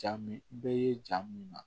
Jaa min i bɛ ye jaa min na